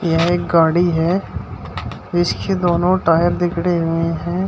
यह एक गाड़ी है इसके दोनों टायर बिगड़े हुए हैं।